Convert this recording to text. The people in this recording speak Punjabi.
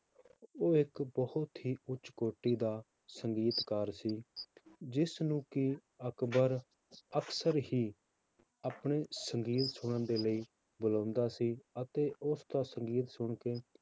ਉਹ ਇੱਕ ਬਹੁਤ ਹੀ ਉੱਚ ਕੋਟੀ ਦਾ ਸੰਗੀਤਕਾਰ ਸੀ ਜਿਸਨੂੰ ਕਿ ਅਕਬਰ ਅਕਸਰ ਹੀ ਆਪਣੇ ਸੰਗੀਤ ਸੁਣਨ ਦੇ ਲਈ ਬੁਲਾਉਂਦਾ ਸੀ ਅਤੇ ਉਸਦਾ ਸੰਗੀਤ ਸੁਣਕੇ